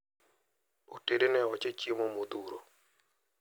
Otedne oche chiemo modhuro.